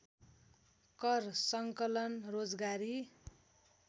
कर सङ्कलन रोजगारी